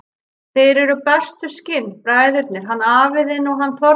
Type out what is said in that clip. Þeir eru bestu skinn, bræðurnir, hann afi þinn og hann Þormóður.